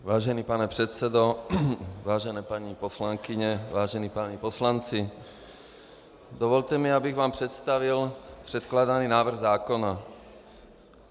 Vážený pane předsedo, vážené paní poslankyně, vážení páni poslanci, dovolte mi, abych vám představil předkládaný návrh zákona.